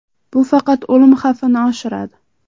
Bu faqat o‘lim xavfini oshiradi.